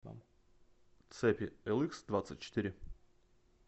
цепи эликсдвадцатьчетыре